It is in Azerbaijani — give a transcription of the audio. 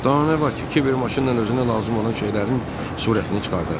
Danə var ki, Kiver maşınla özünə lazım olan şeylərin surətini çıxardar.